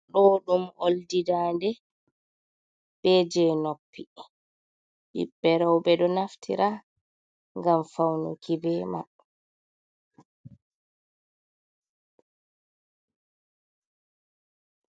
Ɗo ɗum oldi daande, be je noppi ɓiɓɓe roɓe ɗo naftira ngam faunuki be mai.